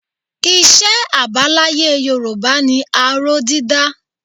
Iṣẹ́ àbáláyé Yorùbá ni aró dídá